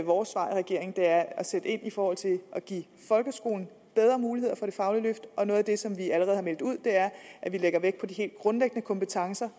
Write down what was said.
vores svar i regeringen at at sætte ind i forhold til at give folkeskolen bedre muligheder for det faglige løft og noget af det som vi allerede har meldt ud er at vi lægger vægt på de helt grundlæggende kompetencer